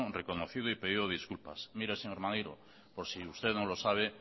reconocido y pedido disculpas mire señor maneiro por si usted no lo sabe